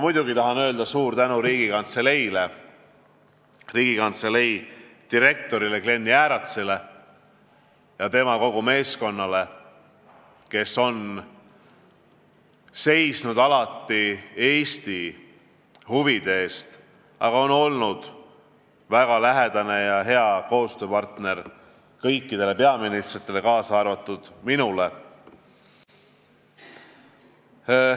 Ma tahan öelda suur tänu Riigikantseleile, Riigikantselei direktorile Klen Jääratsile ja kogu tema meeskonnale, kes on alati seisnud Eesti huvide eest, aga on olnud väga lähedane ja hea koostööpartner kõikidele peaministritele, kaasa arvatud minule.